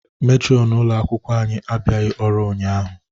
Metronụ ụlo akwụkwọ anyị abịaghị ọrụ ụnyaahụ.